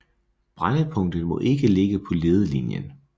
Brændpunktet må ikke ligge på ledelinjen